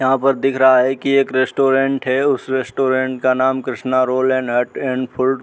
यहाँ पर दिख रहा है की एक रेस्टोरेंट है उस रेस्टोरेंट का नाम Krishna roll and hut and food --